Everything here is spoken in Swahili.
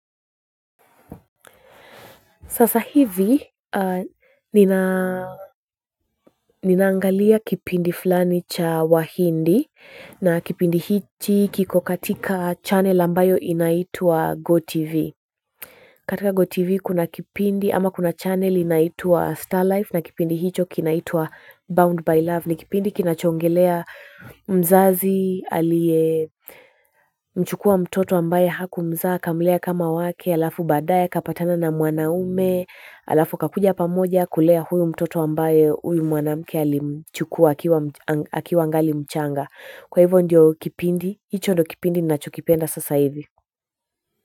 Sasa hivi ninaangalia kipindi fulani cha wahindi na kipindi hiki kiko katika channel ambayo inaitwa GoTV. Katika GoTV kuna kipindi ama kuna channel inaitwa Star Life na kipindi hicho kinaitwa Bound by Love. Ni kipindi kinachoongelea mzazi, aliye mchukua mtoto ambaye haku mzaa, akamlea kama wake, alafu baadaye akapatana na mwanaume, alafu wakakuja pamoja kulea huyu mtoto ambaye huyu mwanamke alimchukua akiwa angali mchanga. Kwa hivyo ndio kipindi, hicho ndo kipindi ni nachokipenda sasa hivi.